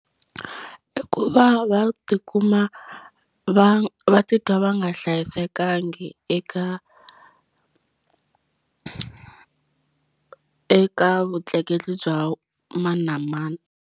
I ku va va tikuma va va titwa va nga hlayisekangi eka eka vutleketli bya mani na mani.